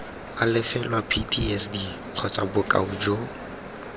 alafelwa ptsd kgotsa bokoa jo